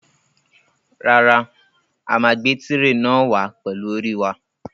Rárá, a máa gbé tirè náà wàá pẹlú orí wa.